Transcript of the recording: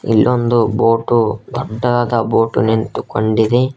ಇಲ್ಲೊಂದು ಬೋಟು ದೊಡ್ಡದಾದ ಬೋಟು ನಿಂತುಕೊಂಡಿದೆ.